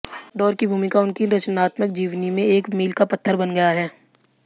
दौर की भूमिका उनकी रचनात्मक जीवनी में एक मील का पत्थर बन गया है